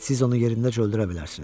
Siz onu yerindəcə öldürə bilərsiniz.